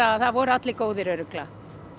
að það voru allir góðir örugglega